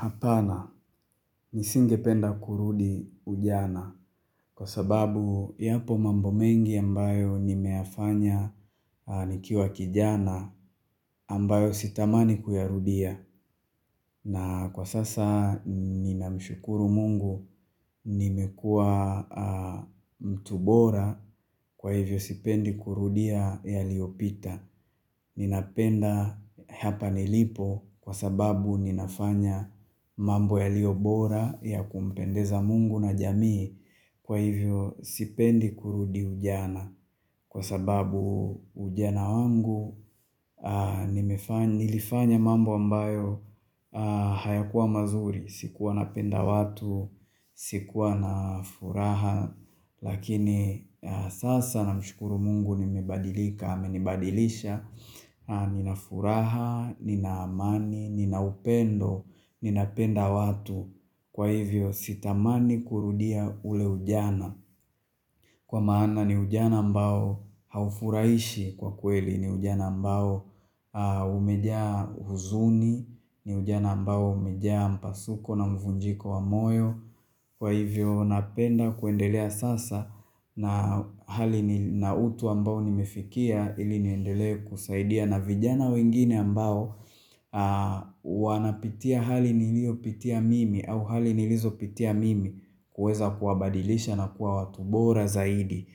Hapana, nisingependa kurudi ujana kwa sababu yapo mambo mengi ambayo nimeyafanya nikiwa kijana ambayo sitamani kuyarudia. Na kwa sasa ninamshukuru Mungu nimekuwa mtu bora kwa hivyo sipendi kurudia yaliopita. Ninapenda hapa nilipo kwa sababu ninafanya mambo yaliyo bora ya kumpendeza Mungu na jamii. Kwa hivyo, sipendi kurudi ujana, kwa sababu ujana wangu nilifanya mambo ambayo hayakuwa mazuri. Sikuwa napenda watu, sikuwa na furaha Lakini sasa namshukuru Mungu nimebadilika, amenibadilisha nina furaha, nina amani, nina upendo, ninapenda watu. Kwa hivyo sitamani kurudia ule ujana, kwa maana ni ujana ambao haufurahishi kwa kweli, ni ujana ambao umejaa huzuni ni ujana mbao umejaa mpasuko na mvunjiko wa moyo. Kwa hivyo napenda kuendelea sasa na hali na utu ambao nimefikia ili niendelee kusaidia na vijana wengine ambao wanapitia hali niliyopitia mimi au hali nilizopitia mimi, kuweza kuwabadilisha na kuwa watu bora zaidi.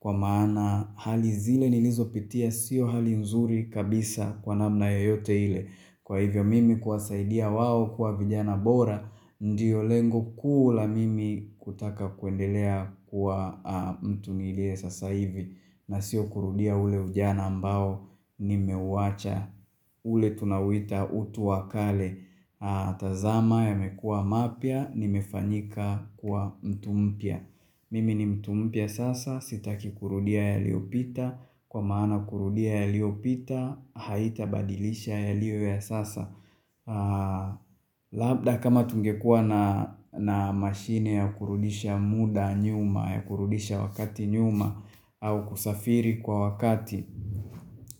Kwa maana hali zile nilizopitia sio hali nzuri kabisa kwa namna yoyote ile. Kwa hivyo mimi kuwasaidia wao kuwa vijana bora ndio lengo kuu la mimi kutaka kuendelea kuwa mtu niliye sasa hivi. Na sio kurudia ule ujana ambao nimeuwacha ule tunauita utu wa kale. Tazama yamekuwa mapya, nimefanyika kuwa mtu mpya. Mimi ni mtu mpya sasa, sitaki kurudia yaliopita, kwa maana kurudia yaliopita haitabadilisha yaliyo ya sasa labda kama tungekuwa na mashine ya kurudisha muda nyuma, ya kurudisha wakati nyuma au kusafiri kwa wakati,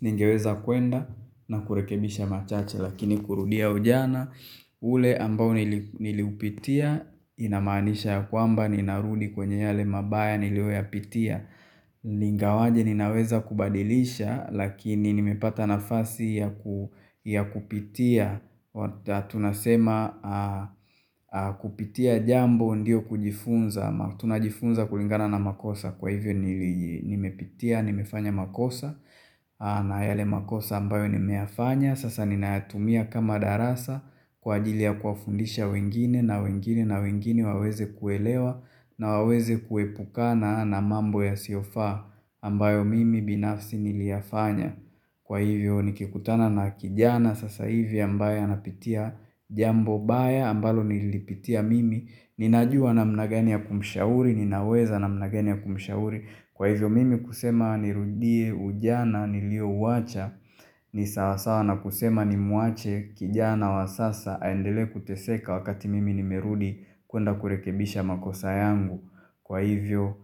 ningeweza kuenda na kurekebisha machache. Lakini kurudia ujana ule ambao niliupitia inamaanisha ya kwamba ninarudi kwenye yale mabaya niliyoyapitia Ingawaje ninaweza kubadilisha lakini nimepata nafasi ya kupitia tunasema kupitia jambo ndio kujifunza ama tunajifunza kulingana na makosa. Kwa hivyo nimepitia, nimefanya makosa, na yale makosa ambayo nimeyafanya sasa ninayatumia kama darasa kwa ajili ya kuwafundisha wengine na wengine na wengine waweze kuelewa na waweze kuepukana na mambo yasiyofaa ambayo mimi binafsi niliyafanya. Kwa hivyo nikikutana na kijana sasa hivi ambaye anapitia jambo baya ambalo nililipitia mimi, ninajua namna gani ya kumshauri, ninaweza namna gani ya kumshauri. Kwa hivyo mimi kusema nirudie ujana niliouwacha ni sawasawa na kusema nimwache kijana wa sasa aendele kuteseka wakati mimi nimerudi kuenda kurekebisha makosa yangu. Kwa hivyo,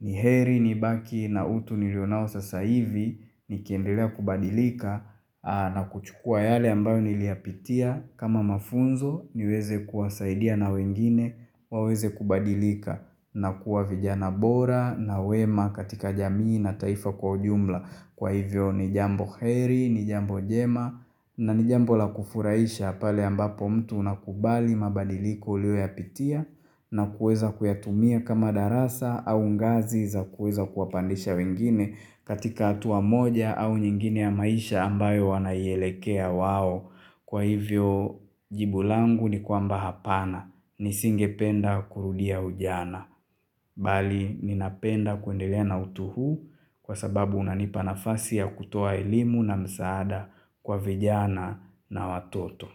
ni heri nibaki na utu nilio nao sasa hivi, nikiendelea kubadilika na kuchukua yale ambayo niliyapitia kama mafunzo, niweze kuwasaidia na wengine waweze kubadilika na kuwa vijana bora na wema katika jamii na taifa kwa ujumla. Kwa hivyo ni jambo heri, ni jambo jema na ni jambo la kufurahisha pale ambapo mtu unakubali mabadiliko uliyoyapitia na kuweza kuyatumia kama darasa au ngazi za kuweza kuwapandisha wengine katika hatua moja au nyingine ya maisha ambayo wanaielekea wao. Kwa hivyo, jibu langu ni kwamba, hapana nisingependa kurudia ujana. Bali, ninapenda kuendelea na utu huu kwa sababu unanipa nafasi ya kutoa elimu na msaada kwa vijana na watoto.